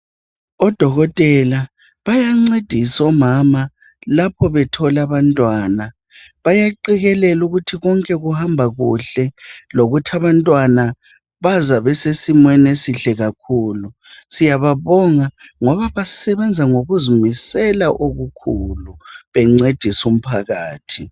Odokotela bayancedisa omama lapho bethola abantwana bayaqekelela ukuthi konke kuhama kuhle lokuthi abantwana baza bese simeni esihle kakhulu siyababonga ngoba basebenza ngokuzimisela okukhulu bencedisa umphakathi.